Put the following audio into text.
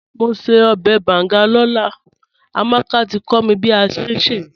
Mò n ṣẹ̀ ọbẹ̀ bàngà lọ́lá, Amàkà tí kò mí bí a ṣẹ̀ n ṣẹ́.